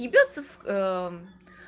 ебётся в к